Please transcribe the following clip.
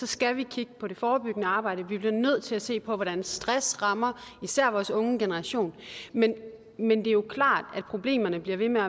skal vi kigge på det forebyggende arbejde vi bliver nødt til at se på hvordan stress rammer især vores unge generation men men det er klart at problemerne bliver ved med